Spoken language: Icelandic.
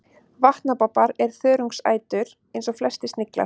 vatnabobbar er þörungaætur eins og flestir sniglar